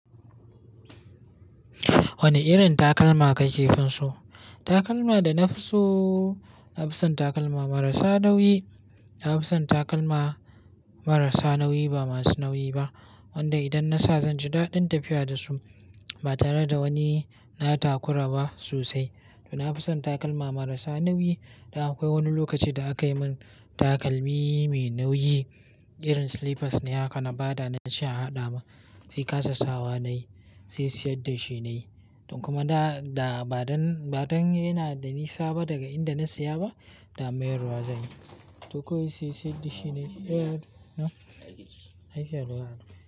Wane irin takalma ka ke finso? Takalma da na fi so, na fi son takalma marasa nauyi. Na fi son takalma marasa nauyi ba masu nauyi ba. Wanda idan na sa zan ji daɗin tafiya da su ba tare da wani na takura ba sosai. To na fi son takalma marasa nauyi. Da akwai wani lokaci da aka yi min takalmi mai nauyi, irin slippers ne. Haka na ba da nace a haɗa ma. Sai kasa sawa na yi, sai siyar da shi na yi. Don kuma da, da ba zan, ba zan yana da nisa ba daga inda na saya ba, da mayarwa zan yi. To kawai sai siyar da shi ne. Eh, na yi fyaɗuwa.